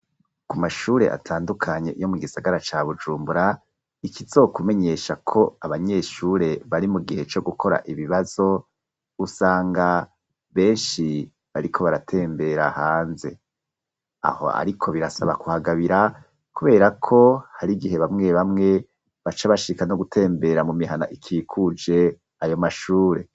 Ku mashure atandukanye, yo mu gisagara ca Bujumbura, ikizokumenyesha ko, abanyeshure, bari mu gihe, co gukora ibibazo, usanga benshi, bariko baratembera hanze; aho ariko, birasaba kuhagabira, kubera ko, hari igihe, bamwe bamwe, baca bashika no gutembera, mu mihana ikikuje, ayo mashure.